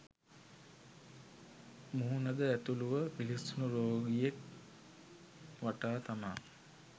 මුහුණ ද ඇතුළුව පිළිස්සුණු රෝගියෙක් වටා තමා